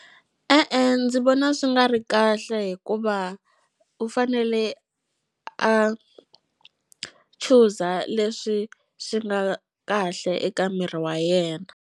E-e ndzi vona swi nga ri kahle hikuva u fanele a chuza leswi swi nga kahle eka miri wa yena.